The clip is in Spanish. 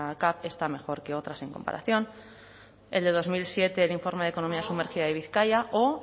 cav está mejor que otras en comparación el de dos mil siete el informe de economía sumergida de bizkaia o